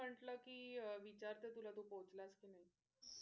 म्हणलं कि विचारते तुला तू पोहचलास कि नाही?